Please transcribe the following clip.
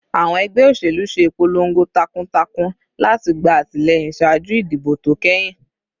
Awọn ẹgbẹ oselu ṣe ipolongo takuntakun lati gba atilẹyin ṣaaju idibo to kẹhin